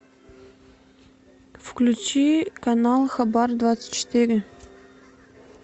включи канал хабар двадцать четыре